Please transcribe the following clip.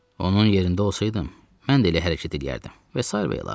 Onun yerində olsaydım, mən də elə hərəkət eləyərdim və sairə və ilaxır.